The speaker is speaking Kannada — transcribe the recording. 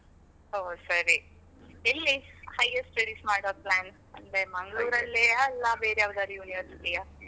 ಹೊ ಸರಿ, ಎಲ್ಲಿ higher studies ಮಾಡುವ plan ? ಅಂದ್ರೆ ಮಂಗಳೂರಲ್ಲಿಯ ಅಲ್ಲ ಬೇರೆ ಯಾವುದಾದ್ರೂ university ಯಾ?